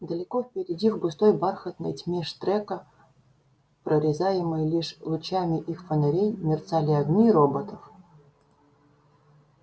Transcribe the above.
далеко впереди в густой бархатной тьме штрека прорезаемой лишь лучами их фонарей мерцали огни роботов